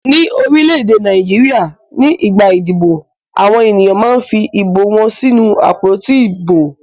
Ní orílẹ̀-èdè Nàìjíríà nígbà ìdìbò àwọn ènìyàn máa fi ìbò wọn sínú àpótí ìbò.